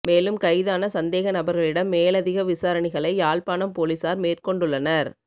மேலும் கைதான சந்தேக நபர்களிடம் மேலதிக விசாரணைகளை யாழ்ப்பாணம் பொலிஸார் மேற்கொண்டுள்ளனர்